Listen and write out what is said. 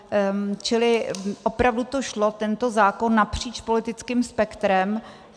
Čili opravdu to šlo, tento zákon, napříč politickým spektrem.